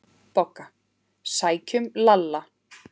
BOGGA: Sækjum Lalla!